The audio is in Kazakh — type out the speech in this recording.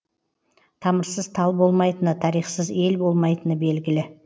тамырсыз тал болмайтыны тарихсыз ел болмайтыны белгілі